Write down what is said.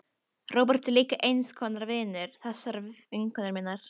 Róbert er líka eins konar vinur þessarar vinkonu minnar.